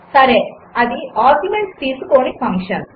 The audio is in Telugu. సరే అది ఆర్గ్యుమెంట్స్ తీసుకోని ఫంక్షన్